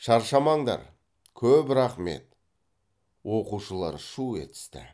шаршамаңдар көп рақмет оқушылар шу етісті